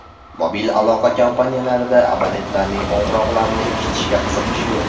Mobil aloqa kompaniyalarida abonentlarning qo‘ng‘iroqlarini eshitishga qiziqish yo‘q.